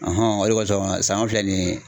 o de kosɔn sanɲɔ filɛ nin ye